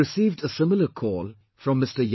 I have received a similar call from Mr